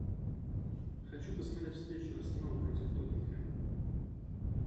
хочу посмотреть встречу арсенал против тоттенхэм